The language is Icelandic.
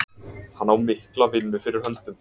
Hann á mikla vinnu fyrir höndum.